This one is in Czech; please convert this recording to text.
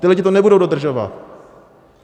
Ti lidé to nebudou dodržovat.